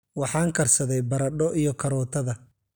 Waxaan karsaday baradho iyo karootada.